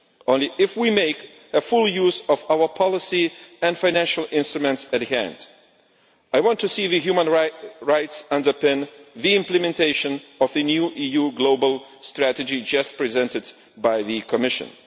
Only if we make full use of our policy and the financial instruments at hand. I want to see human rights underpin the implementation of the new EU global strategy just presented by the Commission.